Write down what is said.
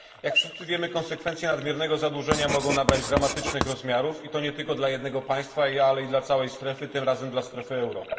Jak wszyscy wiemy, konsekwencje nadmiernego zadłużenia mogą nabrać dramatycznych rozmiarów, i to nie tylko dla jednego państwa, ale i dla całej strefy, tym razem dla strefy euro.